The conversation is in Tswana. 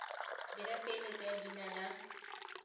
dira peeletso ya leina la